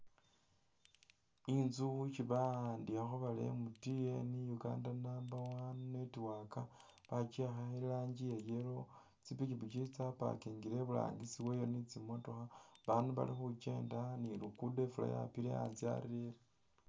Inzu isi ba'andikhakho bari MTN Uganda number one network bakyiyakha irangi ya yellow ,tsipikipiki tsya pakingile iburangisi weyo ni tsimotookha, bandu bali khukyenda ni lugudo ifuula yapile anzye arerere